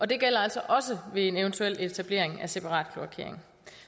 det gælder altså også ved eventuel etablering af separat kloakering